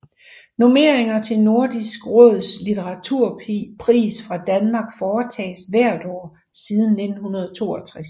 Nomineringer til Nordisk Råds litteraturpris fra Danmark foretages hvert år siden 1962